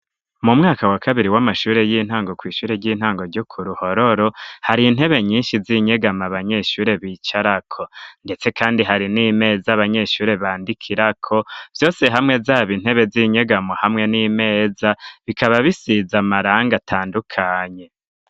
Mu mwaka wa kabiri w'amashure y'intango kw'ishure ry'intango ryuku ruhororo hari intebe nyinshi z'inyegamo abanyeshure bicarako, ndetse, kandi hari n'imeza abanyeshure bandikirako vyose hamwe zaba intebe z'inyegamo hamwe n'imeza bikaba bisiza amaranga atandukanye.